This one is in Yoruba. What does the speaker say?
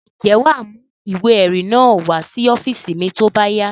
Ǹjẹ́ wà á mú ìwé-ẹ̀rí náà wá sí ọ́fíísì mi tó bá yá?